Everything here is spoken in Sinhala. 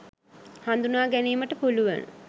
හඳුනා ගැනීමට පුලුවන